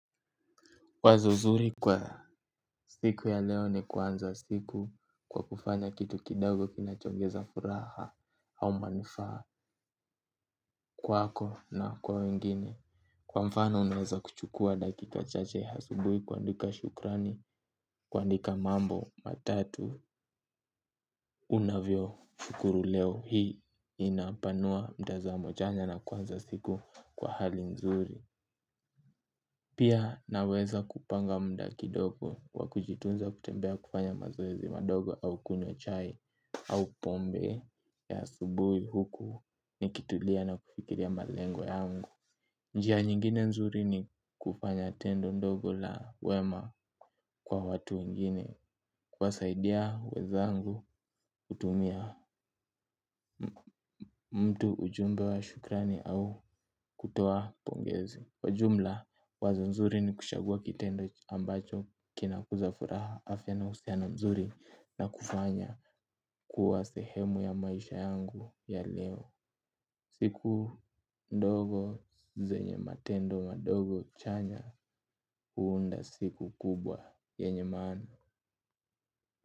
Wazo zuri kwa siku ya leo ni kuanza siku kwa kufanya kitu kidogo kinachoongeza furaha au manufaa kwako na kwa wengine. Kwa mfano unaweza kuchukua dakika chache asubuhi kuandika shukrani, kuandika mambo, matatu, unavyoshukuru leo hii inapanua mtazamo chanya na kuanza siku kwa hali nzuri. Pia naweza kupanga mda kidogo kwa kujitunza kutembea kufanya mazoezi madogo au kunywa chai au pombe ya asubuhi huku nikitulia na kufikiria malengo yangu. Njia nyingine nzuri ni kufanya tendo ndogo la wema kwa watu wengine kuwasaidia wezangu kutumia mtu ujumbe wa shukrani au kutoa pongezi. Kwa jumla, wazo nzuri ni kuchagua kitendo ambacho kina kuzafuraha afya na uhusiano na mzuri na kufanya kuwa sehemu ya maisha yangu ya leo. Siku ndogo zenye matendo madogo chanya huunda siku kubwa yenye maana.